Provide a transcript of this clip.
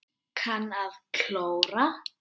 Kann að klóra.